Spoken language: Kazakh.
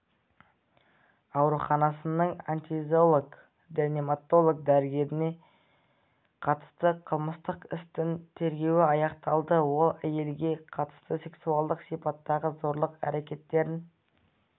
ауруханасының анестезиолог-реаниматолог дәрігеріне қатысты қылмыстық істің тергеуі аяқталды ол әйелге қатысты сексуалдық сипаттағы зорлық әрекеттерін